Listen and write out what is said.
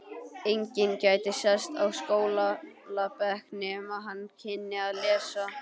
Enginn gæti sest á skólabekk nema hann kynni að lesa.